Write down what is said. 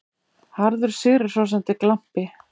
Harður, sigrihrósandi glampi.